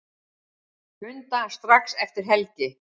Funda strax eftir helgi